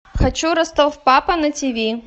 хочу ростов папа на тв